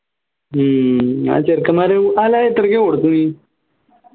ഹും ആ ചെറുക്കന്മാരെ അല്ലാ അത് എത്രക്ക കൊടുത്തേ നീ